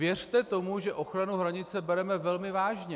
Věřte tomu, že ochranu hranice bereme velmi vážně.